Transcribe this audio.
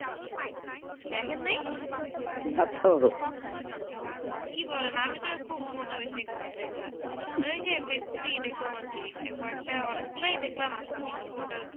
দেখেন নেই না তো কি বলেন আমি তো খুব মজা বেশি খবর দেখা মানে কি ফেইসবুক ই দেখলাম আর কি কোই একটা দেখলাম new portal